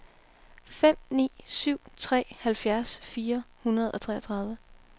fem ni syv tre halvfjerds fire hundrede og treogtredive